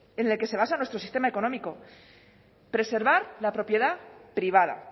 en el que se basa nuestro sistema económico preservar la propiedad privada